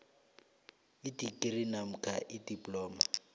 idigri namkha idiploma